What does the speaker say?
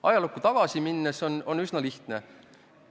Ajalukku tagasi minnes on üsna lihtne.